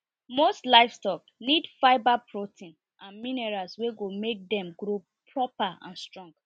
most livestock need fibre protein and minerals wey go make dem grow proper and strong